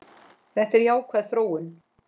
Þetta er jákvæð þróun.